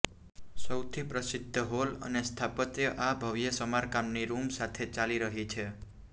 સૌથી પ્રસિદ્ધ હોલ અને સ્થાપત્ય આ ભવ્ય સ્મારકની રૂમ સાથે ચાલી રહી છે